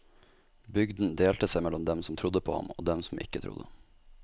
Bygden delte seg mellom dem som trodde på ham, og dem som ikke trodde.